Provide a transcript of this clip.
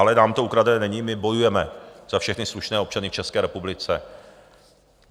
Ale nám to ukradené není, my bojujeme za všechny slušné občany v České republice.